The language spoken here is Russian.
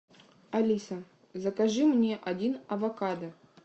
алиса закажи мне один авокадо